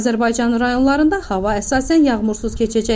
Azərbaycanın rayonlarında hava əsasən yağmursuz keçəcək.